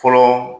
Fɔlɔ